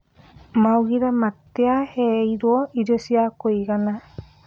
Maugire matiaheirwo irio cia kũigana